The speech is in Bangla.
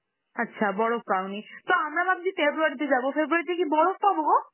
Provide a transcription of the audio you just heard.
আচ্ছা বরফ পাওনি, তো আমরা ভাবছি February তে যাব, February তে কি বরফ পাবো গো?